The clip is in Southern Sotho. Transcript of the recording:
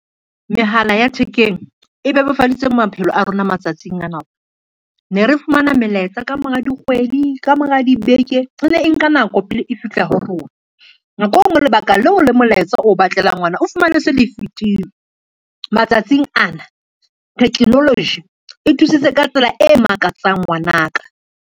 Mehala ya thekeng e bebofaditse maphelo a rona matsatsing a na. Ne re fumana melaetsa ka mora dikgwedi, ka mora dibeke, e ne e nka nako pele e fihla ho rona, nako e ngwe lebaka leo le molaetsa o batlelang ona o fumane se le fitile. Matsatsing ana technology e thusitse ka tsela e makatsang ngwana ka.